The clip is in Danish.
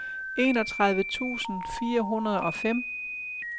enogtredive tusind fire hundrede og fem